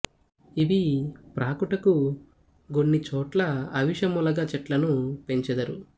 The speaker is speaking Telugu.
ఇవి ప్రాకుటకు గొన్ని చోట్ల అవిశ ములగ చెట్లను పెంచెదరు